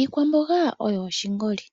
Iikwamboga oyo oshingoli.